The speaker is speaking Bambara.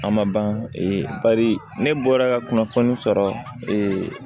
A ma ban bari ne bɔra ka kunnafoni sɔrɔ